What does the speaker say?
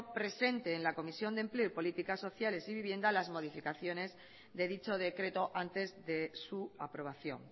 presente en la comisión de empleo y políticas sociales y vivienda las modificaciones de dicho decreto antes de su aprobación